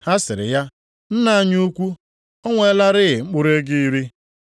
“Ha sịrị ya, ‘Nna anyị ukwu, o nwelarị mkpụrụ ego iri.’